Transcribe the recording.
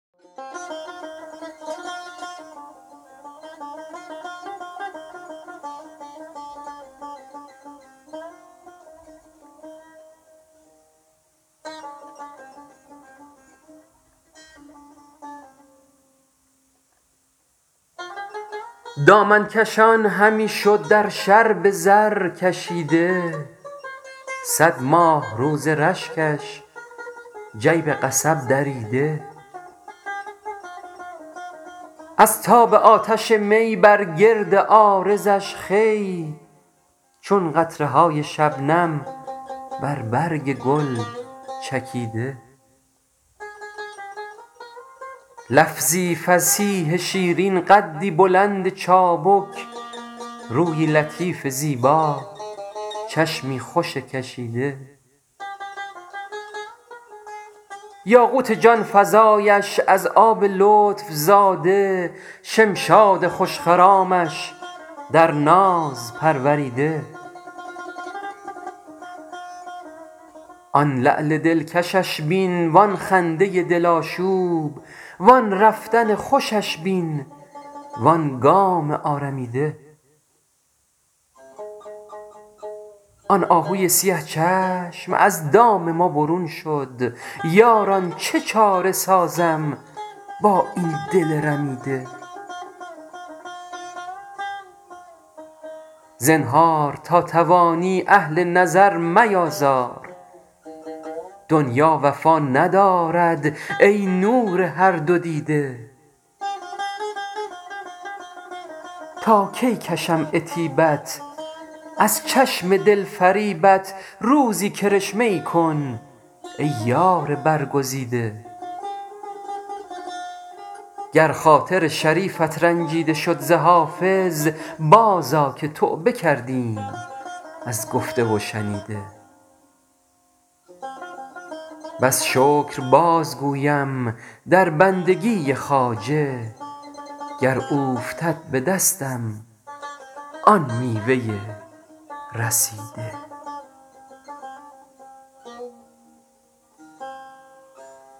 دامن کشان همی شد در شرب زرکشیده صد ماهرو ز رشکش جیب قصب دریده از تاب آتش می بر گرد عارضش خوی چون قطره های شبنم بر برگ گل چکیده لفظی فصیح شیرین قدی بلند چابک رویی لطیف زیبا چشمی خوش کشیده یاقوت جان فزایش از آب لطف زاده شمشاد خوش خرامش در ناز پروریده آن لعل دلکشش بین وآن خنده دل آشوب وآن رفتن خوشش بین وآن گام آرمیده آن آهوی سیه چشم از دام ما برون شد یاران چه چاره سازم با این دل رمیده زنهار تا توانی اهل نظر میآزار دنیا وفا ندارد ای نور هر دو دیده تا کی کشم عتیبت از چشم دل فریبت روزی کرشمه ای کن ای یار برگزیده گر خاطر شریفت رنجیده شد ز حافظ بازآ که توبه کردیم از گفته و شنیده بس شکر بازگویم در بندگی خواجه گر اوفتد به دستم آن میوه رسیده